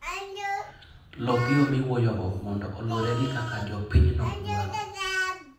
Lok yo miwuoyogo mondo oluwre gi kaka jopinyno dwaro.